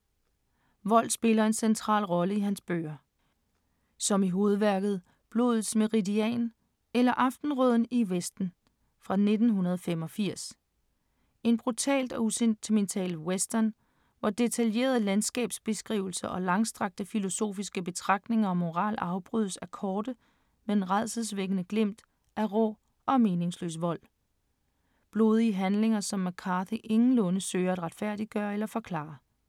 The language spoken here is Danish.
Vold spiller en central rolle i hans bøger. Som i hovedværket ”Blodets meridian eller Aftenrøden i Vesten” fra 1985. En brutal og usentimental western, hvor detaljerede landskabsbeskrivelser og langstrakte filosofiske betragtninger om moral afbrydes af korte, men rædselsvækkende glimt af rå og meningsløs vold. Blodige handlinger, som McCarthy ingenlunde søger at retfærdiggøre eller forklare.